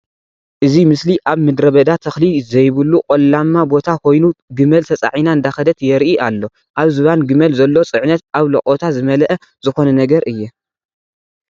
እዚ ምስሊ አብ ምድረበዳ (ተክሊ ዘይብሉ ቆላማ ቦታ) ኮይኑ ግመል ተፃዒና እንዳከደት የርኢ አሎ፡፡ አብ ዝባን ግመል ዘሎ ፅዕነት አብ ለቆታ ዝመልአ ዝኮነ ነገር እየ፡፡